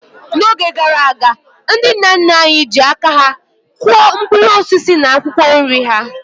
N'oge gara aga, ndị nna nna anyị ha ji aka kụọ mkpụrụ osisi na akwụkwọ nri ha.